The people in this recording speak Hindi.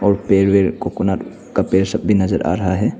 और पेड़ वेड़ कोकोनट का पेड़ सब भी नजर आ रहा है।